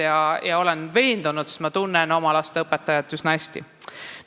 Ma olen selles veendunud, sest ma tunnen oma laste õpetajat üsna hästi.